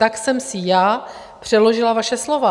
Tak jsem si já přeložila vaše slova.